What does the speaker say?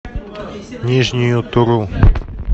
нижнюю туру